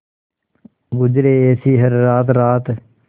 गुजरे ऐसी हर रात रात